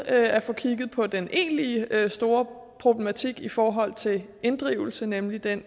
at få kigget på den egentlige store problematik i forhold til inddrivelse nemlig den